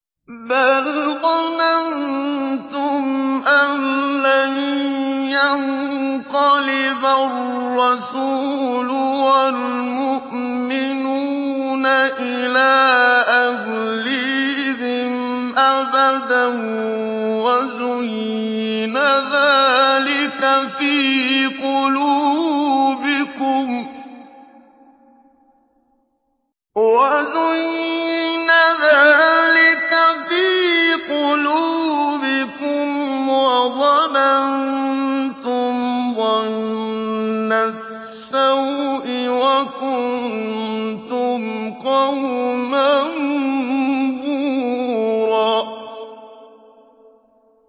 بَلْ ظَنَنتُمْ أَن لَّن يَنقَلِبَ الرَّسُولُ وَالْمُؤْمِنُونَ إِلَىٰ أَهْلِيهِمْ أَبَدًا وَزُيِّنَ ذَٰلِكَ فِي قُلُوبِكُمْ وَظَنَنتُمْ ظَنَّ السَّوْءِ وَكُنتُمْ قَوْمًا بُورًا